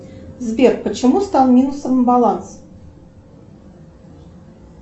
сбер почему стал минусом баланс